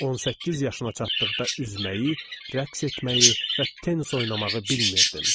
18 yaşına çatdıqda üzməyi, rəqs etməyi və tenis oynamağı bilmirdim.